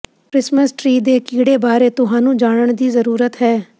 Christmas tree ਦੇ ਕੀੜੇ ਬਾਰੇ ਤੁਹਾਨੂੰ ਜਾਨਣ ਦੀ ਜ਼ਰੂਰਤ ਹੈ